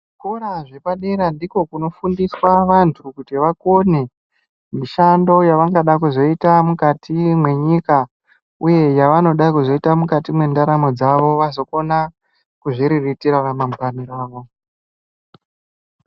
Muntu umwKuzvikora zvepadera ndikwo kunofundiswa vantu kuti vakone mishando yavangada kuzoita mukati mwenyika, uye yavanoda kuzoita mukati mwendaramo dzavo vazokona kuzviriritira ramangwani ravo.